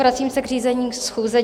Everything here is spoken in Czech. Vracím se k řízení schůze.